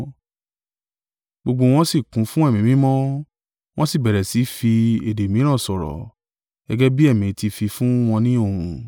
Gbogbo wọn sì kún fún Ẹ̀mí Mímọ́, wọn sì bẹ̀rẹ̀ sí í fi èdè mìíràn sọ̀rọ̀, gẹ́gẹ́ bí Ẹ̀mí ti fi fún wọn ni ohùn.